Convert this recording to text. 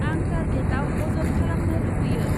आं टार्गेटआव अजद खालामनो लुबैयो